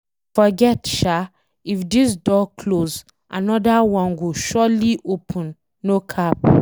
Forget sha, if this door close anoda one go surely, open no cap